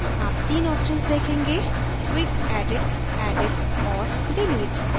आप तीन options– देखेंगेquick edit edit और delete